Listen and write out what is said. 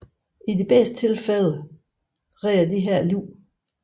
I de bedste tilfælde reder dette liv